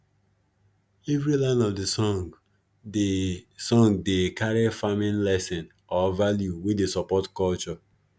every line of de song dey song dey carry farming lesson or value wey dey support culture